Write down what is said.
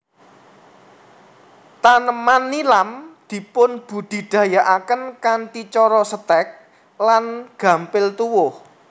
Taneman nilam dipunbudidayakaken kanthi cara Setèk lan gampil tuwuh